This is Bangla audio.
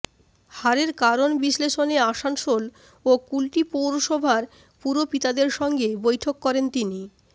হারের কারণ বিশ্লেষণে আসানসোল ও কুলটি পৌরসভার পুরপিতাদের সঙ্গে বৈঠক করেন তিনি